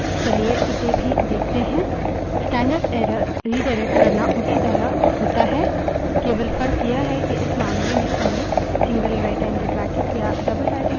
चलिए इसे भी देखते है